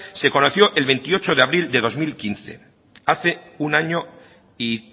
se conoció el veintiocho de abril de dos mil quince hace un año y